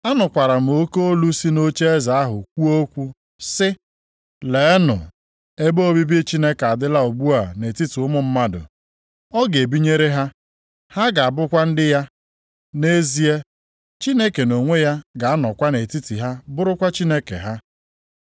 Anụkwara m oke olu si nʼocheeze ahụ kwuo okwu sị, “Leenụ! Ebe obibi Chineke adịla ugbu a nʼetiti ụmụ mmadụ. Ọ ga-ebinyere ha. Ha ga-abụkwa ndị ya, nʼezie, Chineke nʼonwe ya ga-anọkwa nʼetiti ha bụrụkwa Chineke ha.